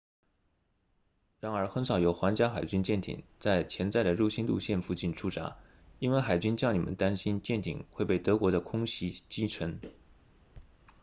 然而很少有皇家海军舰艇在潜在的入侵路线附近驻扎因为海军将领们担心舰艇会被德国的空袭击沉